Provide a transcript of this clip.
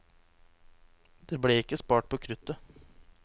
Det ble ikke spart på kruttet.